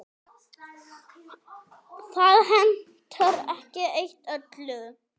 Það hentar ekki eitt öllum.